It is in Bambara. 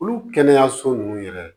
Olu kɛnɛyaso nunnu yɛrɛ